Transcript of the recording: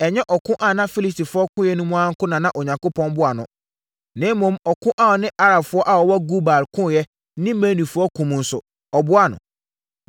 Ɛnyɛ ɔko a ɔne Filistifoɔ koeɛ no mu nko ara na Onyankopɔn boaa no, na mmom ɔko a ɔne Arabfoɔ a wɔwɔ Gur Baal koeɛ ne Meunifoɔ ko mu nso, ɔboaa no.